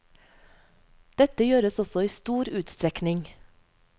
Dette gjøres også i stor utstrekning.